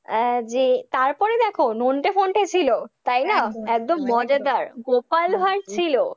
আহ যে তারপরে দেখ নন্টে ফন্টে ছিল তাই না? একদম মজাদার, গোপাল ভাঁড় ছিল,